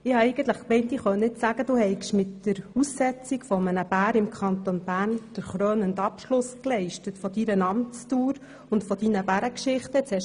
Ich dachte eigentlich, ich könne nun sagen, du habest mit dem Aussetzen eines Bären im Kanton Bern für den krönenden Abschluss deiner Amtsdauer und deiner Bärengeschichten gesorgt.